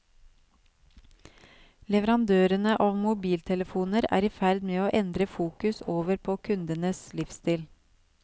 Leverandørene av mobiltelefoner er i ferd med å endre fokus over på kundenes livsstil.